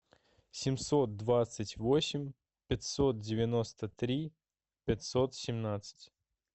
семьсот двадцать восемь пятьсот девяносто три пятьсот семнадцать